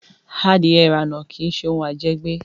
Adìẹ ìrànà kí ṣe òun à jẹ gbé